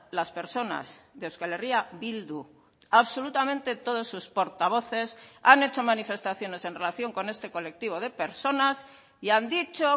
las personas de euskal herria bildu absolutamente todos sus portavoces han hecho manifestaciones en relación con este colectivo de personas y han dicho